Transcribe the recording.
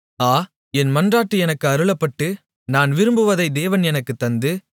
ஆ என் மன்றாட்டு எனக்கு அருளப்பட்டு நான் விரும்புவதை தேவன் எனக்குத் தந்து